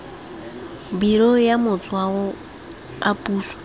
biro ya matshwao a puso